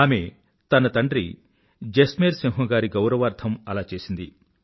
ఆమె తన తండ్రి జస్మేర్ సింహ్ గారి గౌరవార్థం అలా చేసింది